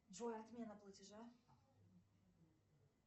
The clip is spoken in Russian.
джой отмена платежа